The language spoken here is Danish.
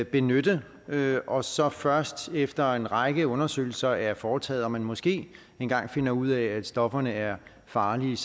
benytte og så først efter en række undersøgelser er foretaget og man måske engang finder ud af at stofferne er farlige